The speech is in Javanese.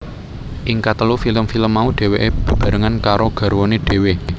Ing katelu film film mau dhèwèké bebarengan karo garwané dhéwé